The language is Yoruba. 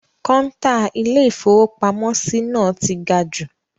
Kọ́ńtà Ilé-ìfowópamọ́sí náà ti ga jù.